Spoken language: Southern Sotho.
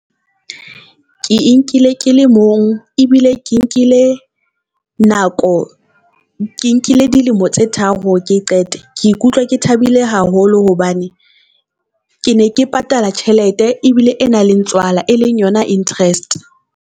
Ke e nkile ke le mong ebile ke nkile nako. Ke nkile dilemo tse tharo ke e qete, ke ikutlwa ke thabile haholo hobane ke ne ke patala tjhelete ebile e nang le tswala e leng yona interest.